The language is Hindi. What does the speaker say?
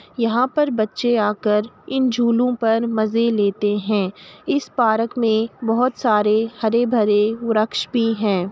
यहाँ पर बच्चे आ कर इन झूलों पर मजे लेते हैं। इस पार्क में बहुत सारे हरे-भरे वृक्ष भी हैं।